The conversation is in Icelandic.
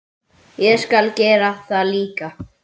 Ég skal gera það líka.